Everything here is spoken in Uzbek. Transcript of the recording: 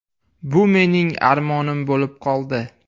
Bu mening armonim bo‘lib qoldi.